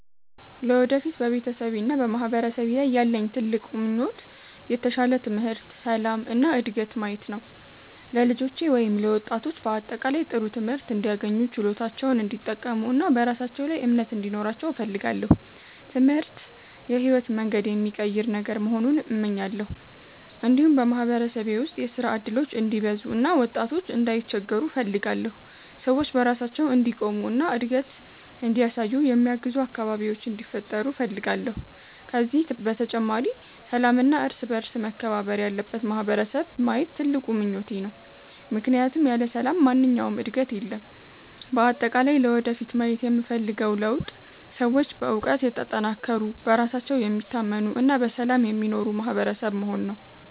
ለወደፊት በቤተሰቤና በማህበረሰቤ ላይ ያለኝ ትልቅ ምኞት የተሻለ ትምህርት፣ ሰላም እና ዕድገት ማየት ነው። ለልጆቼ ወይም ለወጣቶች በአጠቃላይ ጥሩ ትምህርት እንዲያገኙ፣ ችሎታቸውን እንዲጠቀሙ እና በራሳቸው ላይ እምነት እንዲኖራቸው እፈልጋለሁ። ትምህርት የሕይወትን መንገድ የሚቀይር ነገር መሆኑን እመኛለሁ። እንዲሁም በማህበረሰቤ ውስጥ የሥራ እድሎች እንዲበዙ እና ወጣቶች እንዳይቸገሩ እፈልጋለሁ። ሰዎች በራሳቸው እንዲቆሙ እና እድገት እንዲያሳዩ የሚያግዙ አካባቢዎች እንዲፈጠሩ እፈልጋለሁ። ከዚህ በተጨማሪ ሰላምና እርስ በእርስ መከባበር ያለበት ማህበረሰብ ማየት ትልቁ ምኞቴ ነው፣ ምክንያቱም ያለ ሰላም ማንኛውም ዕድገት የለም። በአጠቃላይ ለወደፊት ማየት የምፈልገው ለውጥ ሰዎች በእውቀት የተጠናከሩ፣ በራሳቸው የሚታመኑ እና በሰላም የሚኖሩ ማህበረሰብ መሆን ነው።